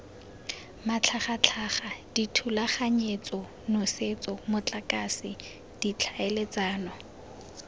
matlhagatlhaga dithulaganyetso nosetso motlakase ditlhaeletsano